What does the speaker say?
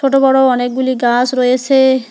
ছোট বড় অনেকগুলি গাস রয়েসে।